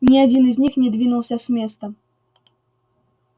ни один из них не двинулся с места